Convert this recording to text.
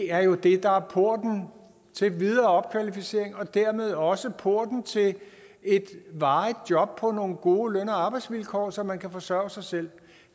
er jo det der er porten til videre opkvalificering og dermed også porten til et varigt job på nogle gode løn og arbejdsvilkår så man kan forsørge sig selv